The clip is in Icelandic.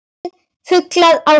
Flestir fuglar á hring